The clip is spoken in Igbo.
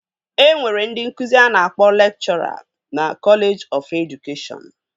E nwere ndị nkụzi a na-akpọ lekchọra na kọleji ọf edụkeshọn